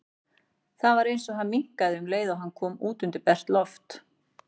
Það var eins og hann minnkaði um leið og hann kom út undir bert loft.